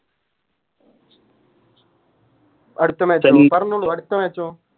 അടുത്ത Match ഓ പറഞ്ഞോളൂ അടുത്ത Match ഓ